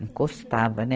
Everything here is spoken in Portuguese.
Não gostava, né?